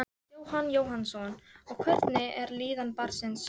Jóhann Jóhannsson: Og hvernig er líðan barnsins?